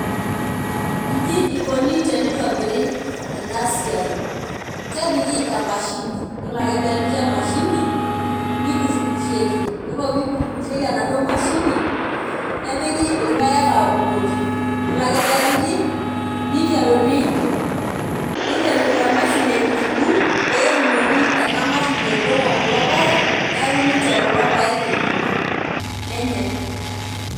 Inji ikuni tenitobiri enasiai kepiki emashini yiolo ake peepiki emashini nikurukurieki yiolo pikurukurieki enaduo mashini nepiki irpaek abukukoki yiolo ake pepiki niteruni niteru emashini aikurukur nidingi kulo peak neaku ninche enkurma .